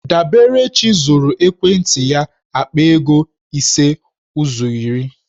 Daberechi zụrụ ekwentị ya akpa ego ise ụzọ iri.